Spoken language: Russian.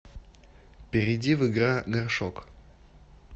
перейди в игра горшок